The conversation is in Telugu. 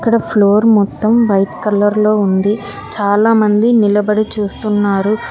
ఈడ ఫ్లోర్ మొత్తం వైట్ కలర్ లో ఉంది చాలామంది నిలబడి చూస్తున్నారు.